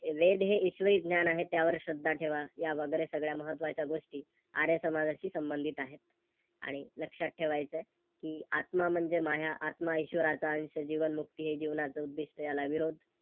वेद हे ईश्वरी ज्ञान आहे, त्यावर श्रद्धा ठेवा यावगैरे सगळ्या महत्वाच्या गोष्टी आर्य समाजाशी संबंधित आहे. आणि लक्षात ठेवायच कि आत्मा म्हणजे माया, आत्मा ईशवराचा अंश, जीवनमुक्ती हे जीवनाचे उद्दिष्ट याला विरोध